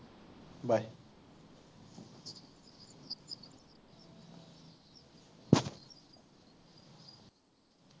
bye